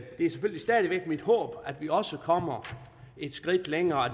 er selvfølgelig stadig væk mit håb at vi også kommer et skridt længere og